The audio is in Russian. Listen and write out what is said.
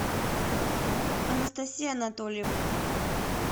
анастасия анатольевна